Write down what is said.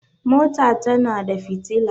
mota tana da fitila